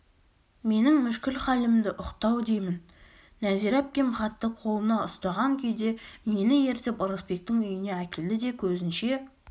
менің мүшкіл халімді ұқты-ау деймін нәзира әпкем хатты қолына ұстаған күйде мені ертіп ырысбектің үйіне әкелді де көзінше